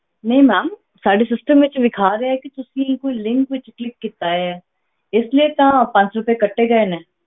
ਨਹੀਂ ma'am ਸਾਡੇ system ਵਿੱਚ ਵਿਖਾ ਰਿਹਾ ਹੈ ਕਿ ਤੁਸੀਂ ਕੋਈ link ਵਿੱਚ click ਕੀਤਾ ਹੈ ਇਸ ਲਈ ਤਾਂ ਪੰਜ ਸੌ ਰੁਪਏ ਕੱਟੇ ਗਏ ਨੇ,